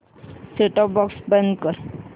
set top box बंद कर